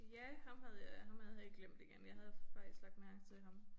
Ja ham havde jeg ham havde jeg helt glemt igen jeg havde faktisk lagt mærke til ham